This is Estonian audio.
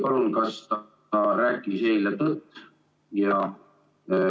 Palun öelge, kas ta rääkis eile tõtt ja ......